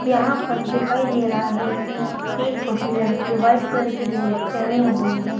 यहां पर दिखाई दे रहा है कि एक छोटी लड़की व्हाइट कलर की ड्रेस पहनी हुई है।